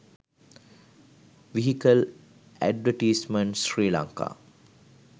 vehicle advertisements sri lanka